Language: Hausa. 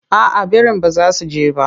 Aa birin ba za su je ba.